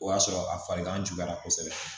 O y'a sɔrɔ a farigan juguyara kosɛbɛ